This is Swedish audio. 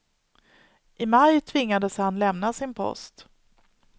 I maj tvingades han lämna sin post.